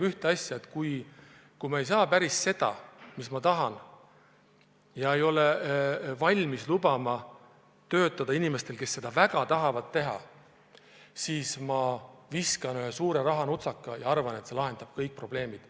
Kui ma ei saa päris seda, mida tahan, ega ole valmis lubama töötada inimestel, kes seda väga tahavad, siis viskan ühe suure rahanutsaka ja arvan, et see lahendab kõik probleemid.